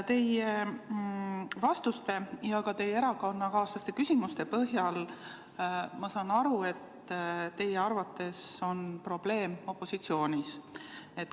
Teie vastuste ja ka teie erakonnakaaslaste küsimuste põhjal ma saan aru, et teie arvates on probleem opositsioonis.